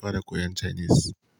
fara koyan Chinese.